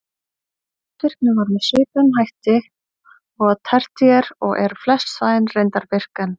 Eldvirkni var með svipuðum hætti og á tertíer og eru flest svæðin reyndar virk enn.